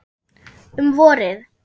Um vorið